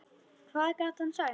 Hvað gat hann sagt?